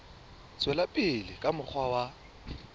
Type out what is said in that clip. tswela pele ka mokgwa wa